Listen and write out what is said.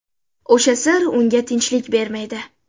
O‘sha sir unga tinchlik bermaydi.